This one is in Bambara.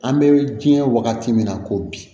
An bɛ diɲɛ wagati min na ko bi